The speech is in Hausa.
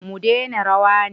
Mu dena rawa ne?